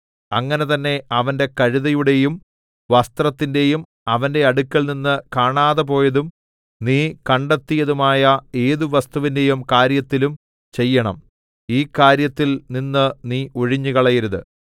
അങ്ങനെ തന്നെ അവന്റെ കഴുതയുടെയും വസ്ത്രത്തിന്റെയും അവന്റെ അടുക്കൽനിന്ന് കാണാതെ പോയതും നീ കണ്ടെത്തിയതുമായ ഏതു വസ്തുവിന്റെയും കാര്യത്തിലും ചെയ്യണം ഈ കാര്യത്തിൽ നിന്ന് നീ ഒഴിഞ്ഞുകളയരുത്